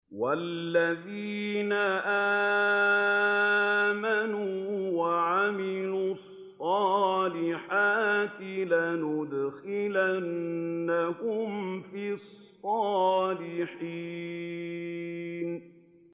وَالَّذِينَ آمَنُوا وَعَمِلُوا الصَّالِحَاتِ لَنُدْخِلَنَّهُمْ فِي الصَّالِحِينَ